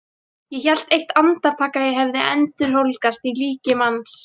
Ég hélt eitt andartak að ég hefði endurholdgast í líki manns.